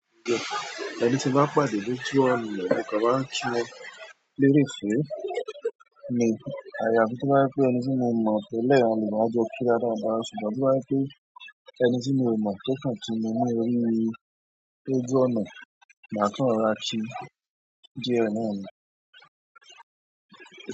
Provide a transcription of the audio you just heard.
Ẹni tí n bá pàdé lójú ọ̀nà mo kàn máa n kí wọn lérèfé ni àyà fi tó ba wípé ẹni tí mo mọ̀ tẹ́lẹ̀ á jọ kíra dáadáa ṣùgbọ́n tó bá jẹ́ pé ẹni tí mi ò mọ̀ tó kàn kí mi ní orí lójú ọ̀nà máa kàn rọra kí díẹ̀ náà ni.